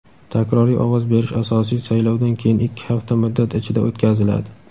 Takroriy ovoz berish asosiy saylovdan keyin ikki hafta muddat ichida o‘tkaziladi.